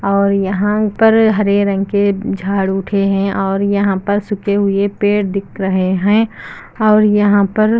और यहां पर हरे रंग के झाड़ू उठे हैं और यहां पर सूखे हुए पेड़ दिख रहे हैं और यहां पर--